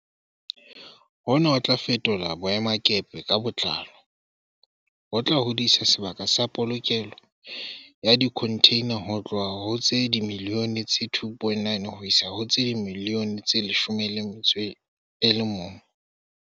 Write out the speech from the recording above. Hona ho tla fetola boemakepe ka botlalo, ho tla hodisa sebaka sa polokelo ya dikhontheina ho tloha ho tse dimiliyone tse 2.9 ho isa ho tse dimiliyone tse 11.